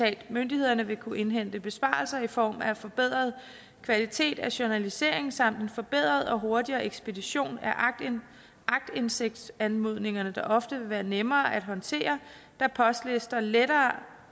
at myndighederne vil kunne indhente besparelser i form af en forbedret kvalitet af journalisering samt en forbedret og hurtigere ekspedition af aktindsigtsanmodningerne der ofte vil være nemmere at håndtere da postlister letter